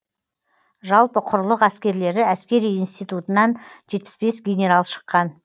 жалпы құрлық әскерлері әскери институтынан жетпіс бес генерал шыққан